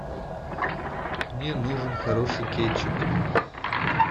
мне нужен хороший кетчуп